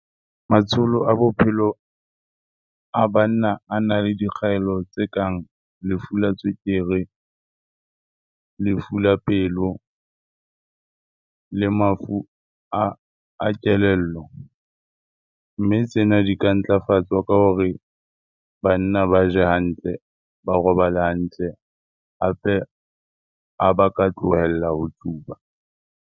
Matsholo a bophelo a banna a na le dikgaello tse kang lefu la tswekere, lefu la pelo le mafu a kelello. Mme tsena di ka ntlafatswa ka hore banna ba je hantle, ba robale hantle hape ha ba ka tlohella ho tsuba.